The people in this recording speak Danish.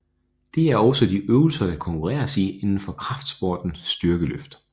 Det er også de øvelser der konkurreres i inden for kraftsporten styrkeløft